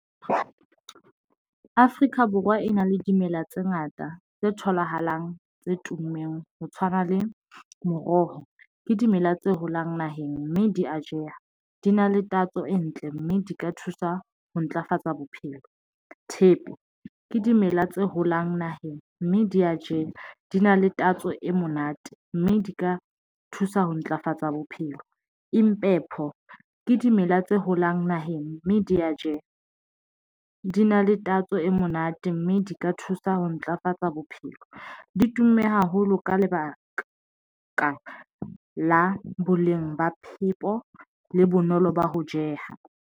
Afrika Borwa e na le dimela tse ngata tse tholahalang, tse tummeng ho tshwana le moroho, ke dimela tse holang naheng mme di a jeha, di na le tatso e ntle mme di ka thusa ho ntlafatsa bophelo. Thepe ke dimela tse holang naheng mme di ya jewa di na le tatso e monate, mme di ka thusa ho ntlafatsa bophelo. Impepho ke dimela tse holang naheng mme di ya jeha di na le tatso e monate mme di ka thusa ho ntlafatsa bophelo. Di tumme haholo ka lebaka la ka la boleng ba phepo le bonolo ba ho jeha.